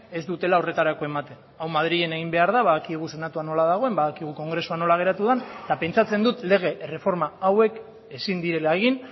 ez dutela horretarako ematen hau madrilen egin behar da badakigu senatua nola dagoen badakigu kongresua nola geratu den eta pentsatzen dut lege erreforma hauek ezin direla egin